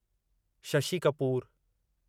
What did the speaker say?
Shashi Kapoor